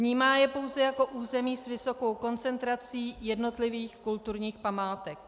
Vnímá je pouze jako území s vysokou koncentrací jednotlivých kulturních památek.